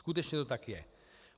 Skutečně to tak je.